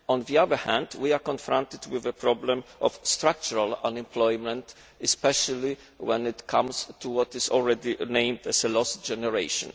On the other hand, we are confronted with a problem of structural unemployment, especially when it comes to what is already called a lost generation.